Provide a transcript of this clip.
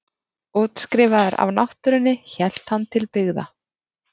Útskrifaður af náttúrunni hélt hann til byggða.